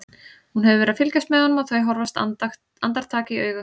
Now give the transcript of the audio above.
Hún hefur verið að fylgjast með honum og þau horfast andartak í augu.